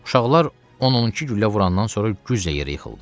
Uşaqlar 10-12 güllə vurandan sonra güzlə yerə yıxıldı.